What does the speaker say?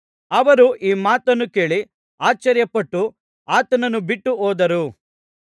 ಅವರು ಈ ಮಾತನ್ನು ಕೇಳಿ ಆಶ್ಚರ್ಯಪಟ್ಟು ಆತನನ್ನು ಬಿಟ್ಟು ಹೋದರು